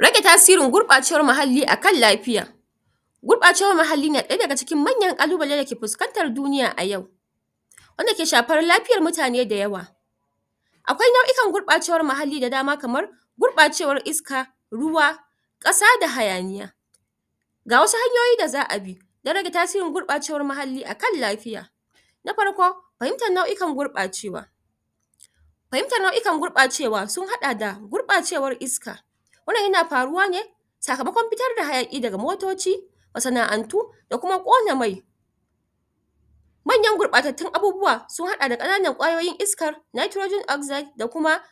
Rage tasirin gurɓacewar muhalli akan lafiya gurɓacewar muhalli na ɗaya daga cikin manyan ƙalubalai da ke puskantar duniya a yau wanda ke shapar lapiyar mutane dayawa akwai nau'ikar gurɓacewar muhalli da dama kamar gurɓacewar iska, ruwa ƙasa da hayaniya ga wasu hanyoyi da za a bi don rage tasirin gurbacewa muhalli a kan lafiya na parko pahimtar nau; ikan gurɓacewa pahimtar nau'ikan gurɓacewa sun haɗa da gurɓacewar iska wannan yana paruwa ne sakamakon pitar da hayaƙi daga motoci masana'antu da kuma ƙona mai manyan gurɓatattun abubuwa sun hada da ƙananan ƙwayoyin iska da kuma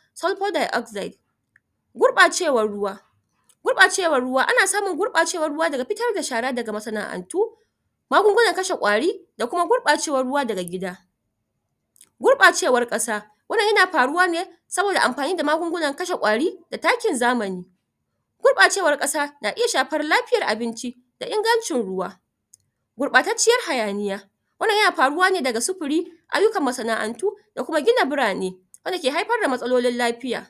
gurɓacewar ruwa gurɓacewar ruwa ana samun gurɓacewar ruwa daga pitar da shara daga masana'antu magungunan kashe ƙwari da kuma gurɓacewar ruwa daga gida gurɓacewar ƙasa wannan yana paruwa ne saboda ampani da magungunan kashe ƙwari da takin zamani gurɓacewar ƙasa na iya shafar lafiyar abinci da ingancin ruwa gurɓatacciyar hayaniya wannan yana paruwa ne daga supuri ayyukan masana'antu da kuma gina burane wanda ke haipar da matsalolin lapiya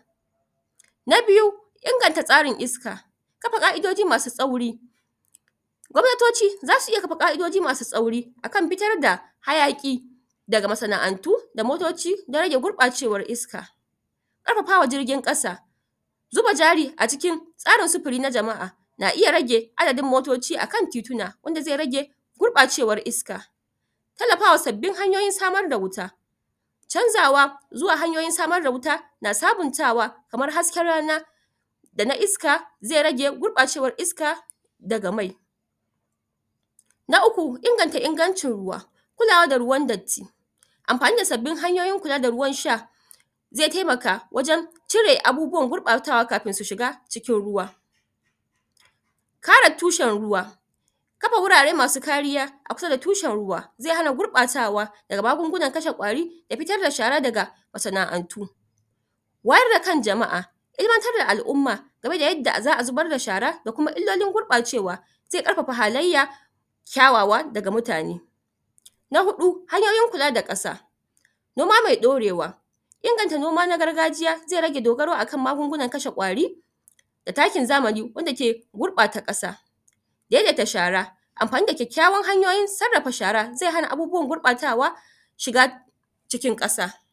na biyu inganta tsarin iska kapa ƙa'idoji wasu tsauri gwamnatoci zasu iya kapa ƙa'idoji masu tsauri akan pitar da hayaƙi daga masana'antuda motoci don rage gurɓacewar iska ƙarapapa wa jirgin ƙasa zuba jari a cikin tsarin supuri na jama'a na iya rage adadin motoci a kan tituna wanda ze rage gurɓacewar iska tallapawa sabbin hanyoyin samar da wuta canzawa zuwa hanyoyin samar da wuta na sabuntawa kamar hasken rana da na iska zai rage gurɓacewar iska daga ma na uku inganta ingancin ruwa kulawa da ruwan datti ampani da sabbin hanyoyin kula da ruwan sha ze taimaka wajen cire abubuwan gurɓatawa kapin su shiga cikin ruwa kare tushen ruwa kapa wurare masu kariya a kusa da tushen ruwa zai hana gurɓatawa daga magungunan kashe ƙwari da pitar da shara daga masana'antu wayar da kan jama'a ilimantar da al'umma game da yadda za'a zubar da shara da kuma illolin gurɓacewa ze ƙarpapa halayya kyawawa daga mutane na huɗu hanyoyin kula da kasa noma me ɗorewa inganta noma na gargajiya ze rage dogaro akan magungunan kashe ƙwari da takin zamani wanda ke gurɓata ƙasa daidaita shara ampani da kyakkyawan hanyoyin sarrapa shara zai hana abubuwan gurɓatawa shiga cikin ƙasa.